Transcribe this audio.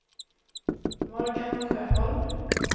Morgan Sjöholm